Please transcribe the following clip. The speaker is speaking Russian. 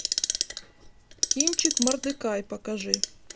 кинчик мордекай покажи